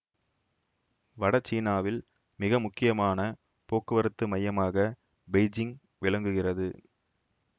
வட சீனாவில் மிக முக்கியமான போக்குவரத்து மையமாக பெய்ஜிங் விளங்குகிறது